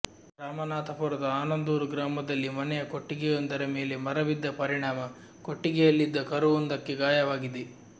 ರಾಮನಾಥಪುರದ ಆನಂದೂರು ಗ್ರಾಮದಲ್ಲಿ ಮನೆಯ ಕೊಟ್ಟಿಗೆಯೊಂದರ ಮೇಲೆ ಮರ ಬಿದ್ದ ಪರಿಣಾಮ ಕೊಟ್ಟಿಗೆಯಲ್ಲಿದ್ದ ಕರುವೊಂದಕ್ಕೆ ಗಾಯವಾಗಿದೆ